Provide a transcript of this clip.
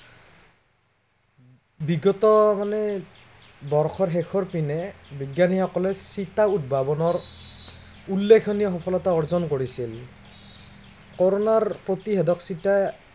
বিগত মানে, বৰ্ষৰ শেষৰ পিনে বিজ্ঞানীসকলে চিটা উদ্ভাৱনৰ, উল্লেখনীয় সফলতা অৰ্জন কৰিছিল। কৰোণাৰ প্ৰতিষেধক চিটা